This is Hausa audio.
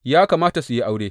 Ya kamata su yi aure.